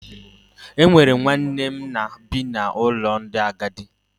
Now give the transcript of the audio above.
O nwere nwanne nna m bi n’ụlọ ndị agadi.